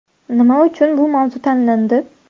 Nima uchun bu mavzu tanlandi ?